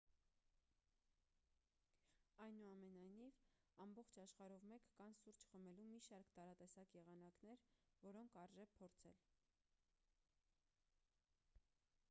այնուամենայնիվ ամբողջ աշխարհով մեկ կան սուրճ խմելու մի շարք տարատեսակ եղանակներ որոնք արժե փորձել